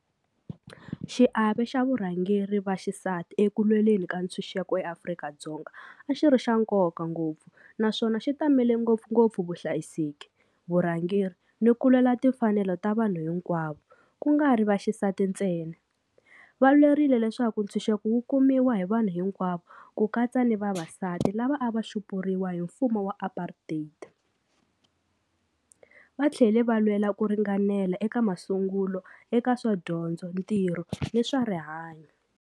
Xiave xa varhangeri va xisati eku lweleni ka ntshunxeko eAfrika-Dzonga a xi ri xa nkoka ngopfu naswona xi tamele ngopfungopfu vuhlayiseki vurhangeri ni ku lwela timfanelo ta vanhu hinkwavo ku nga ri vaxisati ntsena. Va lwerile leswaku ntshunxeko wu kumiwa hi vanhu hinkwavo ku katsa ni vavasati lava a va xupuriwa hi mfumo wa apartheid va tlhela va lwela ku ringanela eka masungulo eka swa dyondzo, ntirho ni swa rihanyo.